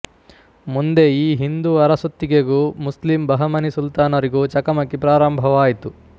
ಮುಂದೆ ಈ ಹಿಂದೂ ಅರಸೊತ್ತಿಗೆಗೂ ಮುಸ್ಲಿಮ್ ಬಹಮನಿ ಸುಲ್ತಾನರಿಗೂ ಚಕಮಕಿ ಪ್ರಾರಂಭವಾಯಿತು